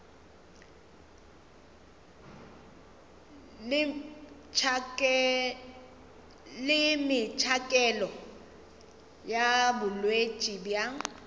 le metšhakelo ya botšweletši bja